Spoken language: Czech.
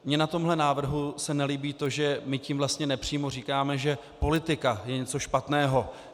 Mně na tomhle návrhu se nelíbí to, že my tím vlastně nepřímo říkáme, že politika je něco špatného.